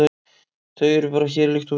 Þau eru bara hér, líkt og við.